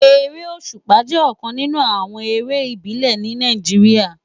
Éré ósúpá jè òkán ninú àwòn éré ibilè ni Náijiriá